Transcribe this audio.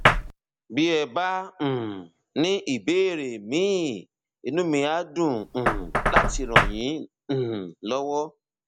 bí ẹ bá um ní ìbéèrè míì inú mi á dùn um láti ràn yín um lọwọ